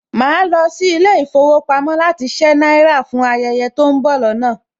Màá lọ sí ilé ìfowópamọ́ láti ṣé náírà fún ayẹyẹ tó ń bọ̀ lọ́nà